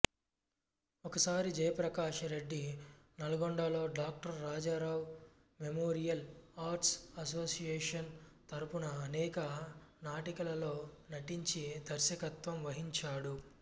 ఒకసారి జయప్రకాష్ రెడ్డి నల్గొండలో doctor Rajarao memorial arts association తరపున అనేక నాటికలలో నటించి దర్శకత్వం వహించాడు